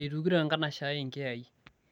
eitukito enkanashe ai inkiyai